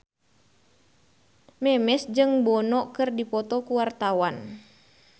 Memes jeung Bono keur dipoto ku wartawan